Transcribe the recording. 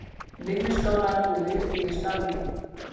Vinnuskálar úr ryðfríu stáli.